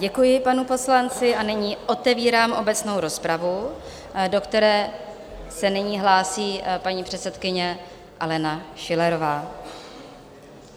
Děkuji panu poslanci a nyní otevírám obecnou rozpravu, do které se nyní hlásí paní předsedkyně Alena Schillerová.